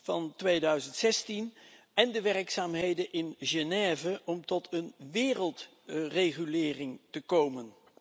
van 2016 en de werkzaamheden in Genève om tot een wereldregulering te komen.